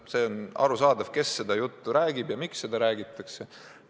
See on küll arusaadav, kes seda juttu räägib ja miks seda räägitakse.